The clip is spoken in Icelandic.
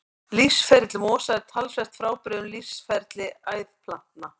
Lífsferill mosa er talsvert frábrugðinn lífsferli æðplantna.